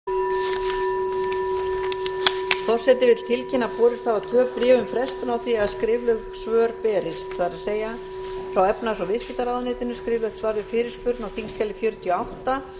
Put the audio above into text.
forseti vill tilkynna að borist hafa tvö bréf á frestun á því að skrifleg svör berist það er frá efnahags og viðskiptaráðuneytinu skriflegt svar við fyrirspurn á þingskjali fjörutíu og átta